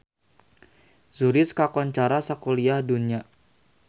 Zurich kakoncara sakuliah dunya